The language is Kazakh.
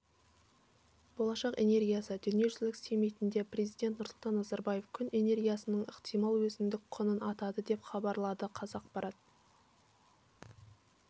болашақ энергиясы дүниежүзілік саммитінде президент нұрсұлтан назарбаев күн энергиясының ықтимал өзіндік құнын атады деп хабарлады қазақпарат